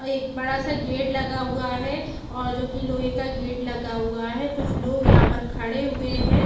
एक बड़ा सा गेट लगा हुआ है और जो कि लोहे का गेट लगा हुआ है कुछ लोग यहां पर खड़े हुए हैं।